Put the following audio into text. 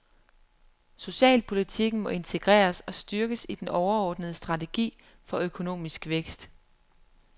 Socialpolitikken må integreres og styrkes i den overordnede strategi for økonomisk vækst.